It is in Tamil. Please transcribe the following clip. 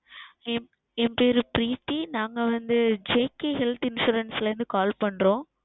என் பெயர் Preethi நாங்கள் வந்து JK Health Insurance ல இருந்து Call செய்கிறோம்